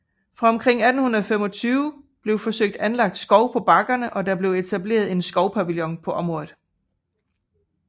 Fra omkring 1825 blev forsøgt anlagt skov på bakkerne og der blev etableret en skovpavillion på området